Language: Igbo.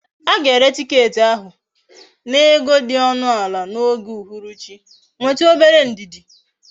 Aga ere ticket ahu na ego di onu ala na oge uhuru chi, nwetu obere ndidi!